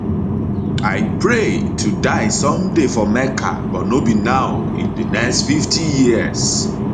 i pray to die someday for mecca but no be now in di next 50 years